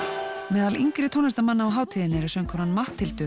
meðal yngri tónlistarmanna á hátíðinni eru söngkonan Matthildur